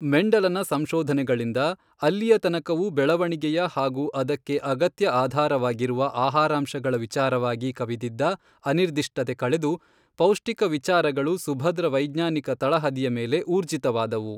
ಮೆಂಡಲನ ಸಂಶೋಧನೆಗಳಿಂದ ಅಲ್ಲಿಯ ತನಕವೂ ಬೆಳೆವಣಿಗೆಯ ಹಾಗೂ ಅದಕ್ಕೆ ಅಗತ್ಯ ಆಧಾರವಾಗಿರುವ ಆಹಾರಾಂಶಗಳ ವಿಚಾರವಾಗಿ ಕವಿದಿದ್ದ ಅನಿರ್ದಿಷ್ಟತೆ ಕಳೆದು ಪೌಷ್ಟಿಕ ವಿಚಾರಗಳು ಸುಭದ್ರ ವೈಜ್ಞಾನಿಕ ತಳಹದಿಯ ಮೇಲೆ ಊರ್ಜಿತವಾದವು.